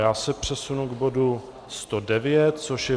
Já se přesunu k bodu 109, což je